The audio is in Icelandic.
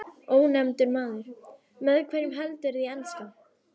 Ónefndur maður: Með hverjum heldurðu í enska?